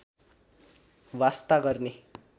वास्ता गर्ने